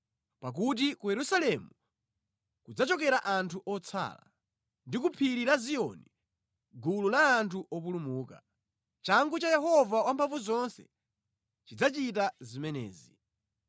Pakuti ku Yerusalemu kudzachokera anthu otsala, ndi ku phiri la Ziyoni gulu la anthu opulumuka. Changu cha Yehova Wamphamvuzonse chidzachita zimenezi.